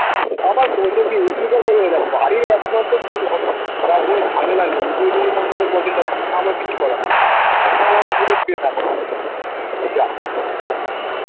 তারপর কত কি দিলাম বাড়ির একমাত্র আমার কিছু করার নেই